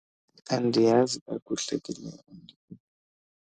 Andiyazi kakuhle ke le .